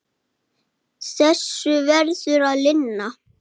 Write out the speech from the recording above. Hann sé orðinn góður.